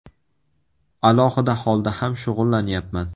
Alohida holda ham shug‘ullanyapman.